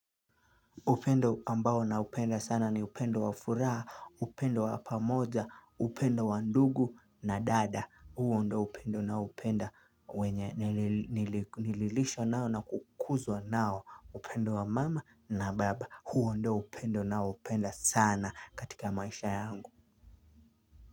Upendo ambao na upenda sana ni upendo wa furaha, upendo wa pamoja, upendo wa ndugu na dada, huo ndio upendo na upenda, nililishwa nao na kukuzwa nao, upendo wa mama na baba, huo ndio upendo na upenda sana katika maisha yangu.